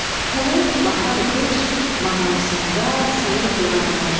Pələng bahar qış mağarasında sayıq durarmış.